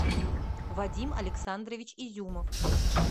вадим александрович изюмов